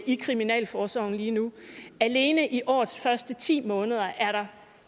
i kriminalforsorgen lige nu alene i årets første ti måneder er der